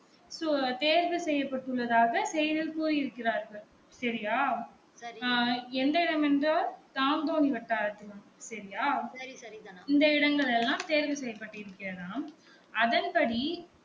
தேர்வு செய்யப்பட்டு உள்ளதாக செய்தியில் கூறி இருக்கிறார்கள் செரியா அஹ் எந்த இடம் என்றால் தாம்போனி வட்டாரத்தில் செரியா இந்த இடங்கள் எல்லாம் தேர்வு செய்யப்பட்டு இருக்கிறதாம் அதன் படி